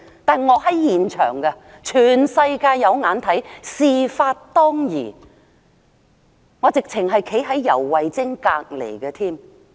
但我當時在現場，全世界都看見，事發當時，我正正站在游蕙禎旁邊。